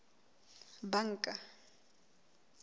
banka